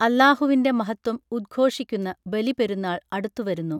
അള്ളാഹുവിൻറെ മഹത്വം ഉദ്ഘോഷിക്കുന്ന ബലി പെരുന്നാൾ അടുത്തു വരുന്നു